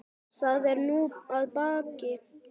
Það er nú að baki.